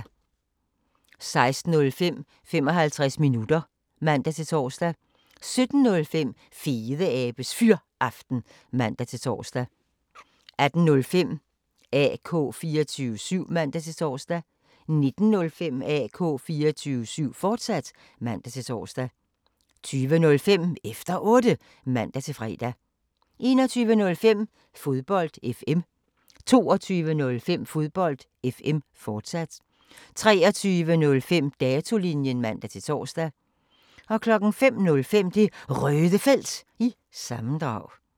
16:05: 55 minutter (man-tor) 17:05: Fedeabes Fyraften (man-tor) 18:05: AK 24syv (man-tor) 19:05: AK 24syv, fortsat (man-tor) 20:05: Efter Otte (man-fre) 21:05: Fodbold FM 22:05: Fodbold FM, fortsat 23:05: Datolinjen (man-tor) 05:05: Det Røde Felt – sammendrag